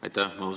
Aitäh!